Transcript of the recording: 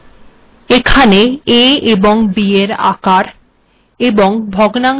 এখন a এবং b এর আকার এবং ভগ্নাংশে এগুলির আকারের মধ্যে পার্থক্যটি লক্ষ্য করুন